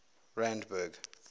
randburg